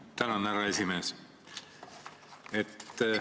Tänan, härra esimees!